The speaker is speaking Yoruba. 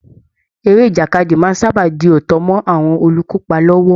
Eré ìjàkadì máa ń sábà di òótọ́ mọ́ àwọn olùkópa lọ́wọ́